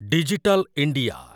digital India